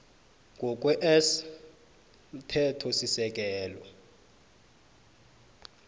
ngokwe s yomthethosisekelo